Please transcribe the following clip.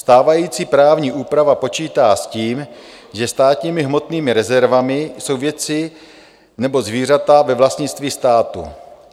Stávající právní úprava počítá s tím, že státními hmotnými rezervami jsou věci nebo zvířata ve vlastnictví státu.